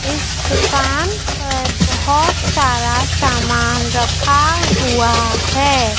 इस दुकान पर बहोत सारा सामान रखा हुआ हैं।